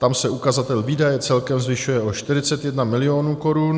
Tam se ukazatel výdaje celkem zvyšuje o 41 mil. korun.